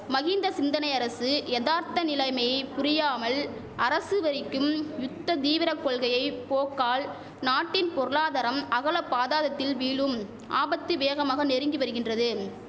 மஹிந்த சிந்தனை அரசு யதார்த்த நிலைமையை புரியாமல் அரசு வரிக்கும் யுத்த தீவிர கொள்கையை போக்கால் நாட்டின் பொருளாதாரம் அகல பாதாதத்தில் வீழும் ஆபத்து வேகமாக நெருங்கி வருகின்றது